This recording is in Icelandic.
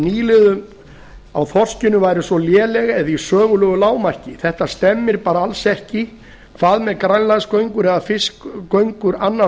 nýliðun á þorskinum væri svo léleg eða í sögulegu lágmarki þetta stemmir bara alls ekki hvað með grænlandsgöngur eða fiskigöngur annars